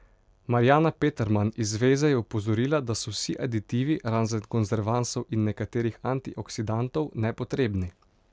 Marjana Peterman iz zveze je opozorila, da so vsi aditivi, razen konzervansov in nekaterih antioksidantov, nepotrebni.